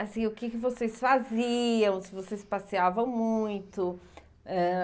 Assim, o que que vocês faziam, se vocês passeavam muito. Ãh